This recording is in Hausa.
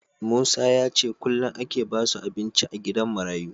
Musa yace kullun ake basu abinci a gidan marayu